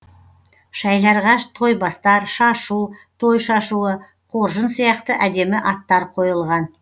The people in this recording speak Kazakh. шәйларға тойбастар шашу той шашуы қоржын сияқты әдемі аттар қойылған